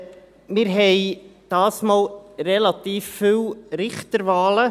Wir haben diesmal relativ viele Richterwahlen.